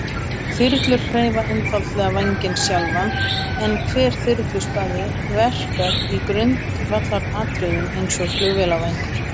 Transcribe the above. Þyrlur hreyfa einfaldlega vænginn sjálfan, en hver þyrluspaði verkar í grundvallaratriðum eins og flugvélarvængur.